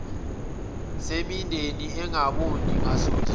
semindeni engaboni ngasolinye